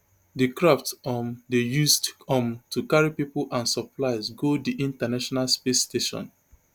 di craft um dey used um to carry pipo and supplies go di international space station